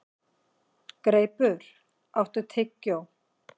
Greipur, áttu tyggjó?